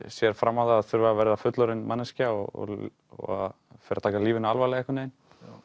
sér fram á það að þurfa að verða fullorðin manneskja og fer að taka lífinu alvarlega einhvern veginn